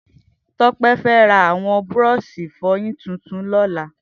Tope fè rà awọn búrọ́ọ̀ṣì ifọyin tùtùn lọlà